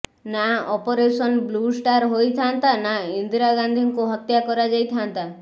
ନା Operation Blue Star ହୋଇଥାଆନ୍ତା ନା ଇନ୍ଦିରା ଗାନ୍ଧୀଙ୍କୁ ହତ୍ୟା କରାଯାଇ ଥାଆନ୍ତା